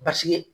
Basigi